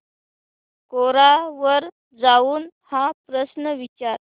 कोरा वर जाऊन हा प्रश्न विचार